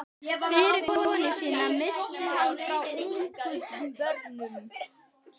Fyrri konu sína missti hann frá ungum börnum.